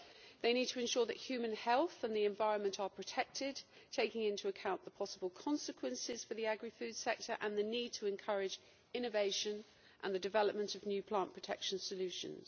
They need to ensure that human health and the environment are protected, taking into account the possible consequences for the agri food sector and the need to encourage innovation and the development of new plant protection solutions.